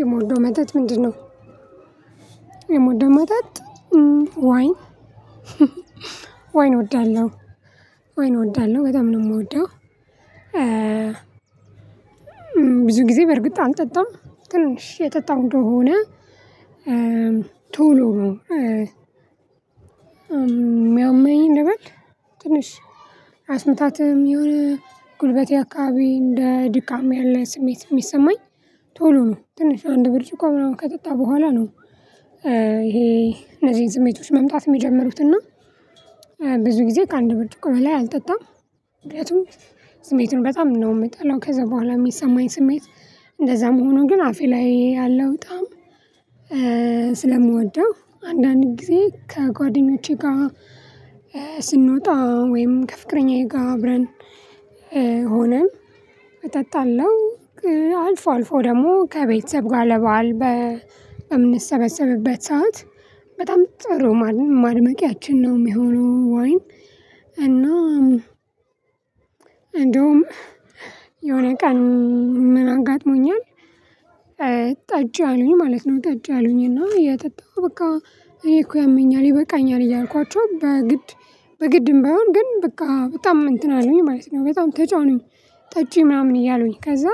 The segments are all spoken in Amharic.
የምትወደው መጠጥ ምንድነው? የምወደው መጠጥ ወይን፣ ወይን እወዳለሁ። ወይን እወዳለሁ። በጣም ነው የምወደው። ብዙ ጊዜ በእርግጥ አልጠጣም ግን እሺ የጠጣው እንደሆነ ቶሎ ነው የሚያመኝ ልበል ትንሽ እራስ ምታትም ይሁን ጉልበቴ አካባቢ እንደ ድካም ያለ ስሜት የሚሰማኝ ቶሎ ነው ትንሽ አንድ ብርጭቆ ምናምን ከጠጣው በኋላ ነው። ይሄ እነዚህን ስሜቶች መምጣት የሚጀምሩት። እና ብዙ ጊዜ ከአንድ ብርጭቆ በላይ አልጠጣም። ምክንያቱም ስሜቱን በጣም ነው የምጠላው። ከዛ በኋላ የሚሰማኝ ስሜት እንደዛም ሆኖ ግን አፌ ላይ ያለው ጣዕም ስለምወደው አንዳንድ ጊዜ ከጓደኞቼ ጋር ስንወጣ ወይም ከፍቅረኛዬ ጋር አብረን ሆነን እጠጣለሁ አልፎ አልፎ ደግሞ ከቤተሰብ ጋር ለበአል በ በምንሰበሰብበት ሰዓት በጣም ጥሩ ማድመቂያችን ነው የሚሆነው ወይን እና እንደውም የሆነ ቀን ምን አጋጥሞኛል ጠጪ አሉኝ ማለት ነው ጠጪ አሉኝ እና የጠጣውት በቃ እኔ እኮ ያመኛል ይበቃኛል እያልኳቸው በግድ በግድም ባይሆን ግን በቃ በጣም እንትን አሉኝ ማለት ነው በጣም ተጫኑኝ ጠጪ ምናምን እያሉኝ ከዛ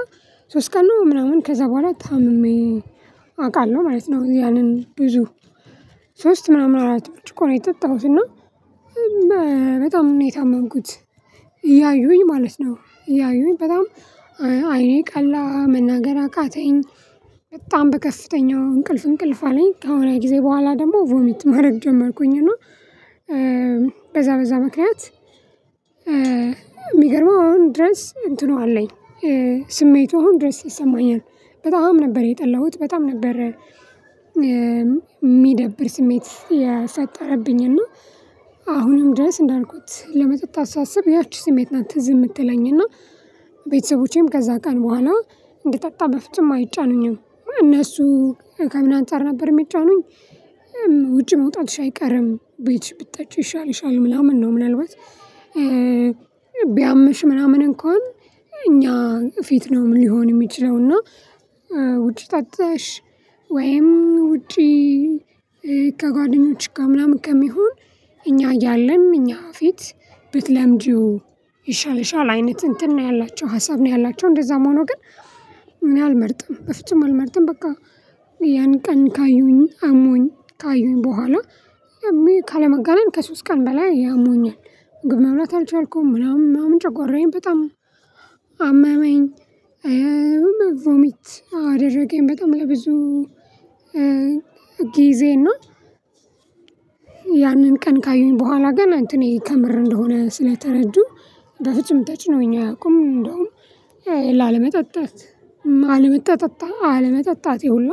ሶስት ቀን ነው ምናምን ከዛ በኋላ ታምሜ አውቃለሁ ማለት ነው ያንን ብዙ ሶስት ምናምን አራት ብርጭቆ ነው የጠጣሁት እና መ በጣም ነው የታመምኩት እያዩኝ ማለት ነው እያዩኝ በጣም አይኔ ቀላ መናገር አቃተኝ በጣም በከፍተኛው እንቅልፍ እንቅልፍ አለኝ ከሆነ ጊዜ በኋላ ደግሞ ቮሚት ማድረግ ጀመርኩኝ እና በዛ በዛ ምክንያት የሚገርመው አሁን ድረስ እንትኑ አለኝ ስሜቱ አሁን ድረስ ይሰማኛል በጣም ነበር የጠላሁት በጣም ነበር የሚደብር ስሜት ያሳደረብኝ እና አሁንም ድረስ እንዳልኩት ለመጠጣት ሳስብ ያቺ ስሜት ናት ትዝ የምትለኝና ቤተሰቦቼም ከዛ ቀን በኋላ እንድጠጣ በፍጹም አይጫኑኝም እነሱ ከምን አንፃር ነበር የሚጫኑኝ ውጪ መውጣትሽ አይቀርም ቤትሽ ብትጠጪ ይሻልሻል ምናምን ነው ምናልባት ቢያምሽ ምናምን እንኳን እኛ ፊት ነው ሊሆን የሚችለው እና ውጪ ጠጥተሽ ወይም ውጪ ከጓደኞችሽ ጋር ምናምን ከሚሆን እኛ እያለን እኛ ፊት ብትለምጂው ይሻልሻል አይነት እንትን ነው ያላቸው ሀሳብ ነው ያላቸው እንደዛም ሆኖ ግን እኔ አልመርጥም በፍጹም አልመርጥም በቃ ያን ቀን ካዩኝ አሞኝ ካዩኝ በኋላ ካለመጋነን ከሶስት ቀን በላይ አሞኛል ምግብ መብላት አልቻልኩም ምናምን ምናምን ጨጓራዬን በጣም አመመኝ ሁሉ ቮሚት አደረገኝ በጣም ለብዙ ጊዜ እና ያንን ቀን ካዩኝ በኋላ ግን እንትኔ ከምር እንደሆነ ስለተረዱ በፍጹም ተጭነውኝ አያውቁም። እንደውም ላለመጠጣት አለመጠጠጣ አለመጠጣቴ ሁላ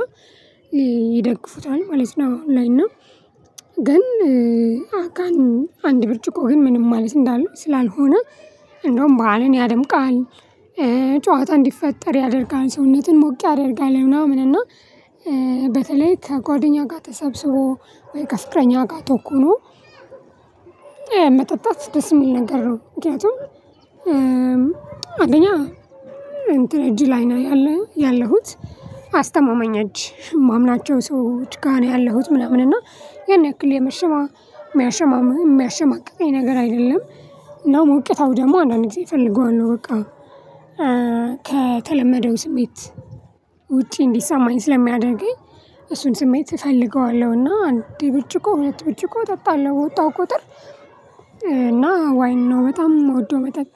ይደግፉታል ማለት ነው አሁን ላይ እና ግን አካኑ አንድ ብርጭቆ ግን ምንም ማለት እንዳለል ስላልሆነ እንደውም በዓልን ያደምቃል ጨዋታ እንዲፈጠር ያደርጋል ሰውነትን ሞቅ ያደርጋል ምናምን እና በተለይ ከጓደኛ ጋር ተሰብስቦ ወይ ከፍቅረኛ ጋር ተኩኖ መጠጣት ደስ የሚል ነገር ነው ምክንያቱም አንደኛ እንትን እጅ ላይ ነው ያለሁት አስተማማኝ እጅ የማምናቸው ሰዎች ጋር ነው ያለሁት ምናምን እና ያን ያክል የመሸማ የሚያሸማ የሚያሸማቅቀኝ ነገር አይደለም ነው ሞቅታው ደግሞ አንዳንድ ጊዜ እፈልገዋለሁ፣ በቃ ከተለመደው ስሜት ውጪ እንዲሰማኝ ስለሚያደርገኝ እሱን ስሜት እፈልገዋለሁና አንድ ብርጭቆ ሁለት ብርጭቆ እጠጣለሁ በወጣሁ ቁጥር እና ወይን ነው በጣም የምወደው መጠጥ